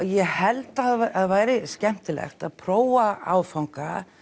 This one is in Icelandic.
ég held það væri skemmtilegt að prófa áfanga